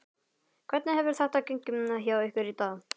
Hvernig hefur þetta gengið hjá ykkur í dag?